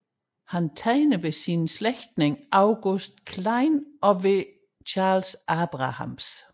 Han tegnede hos sin slægtning August Klein og hos Charles Abrahams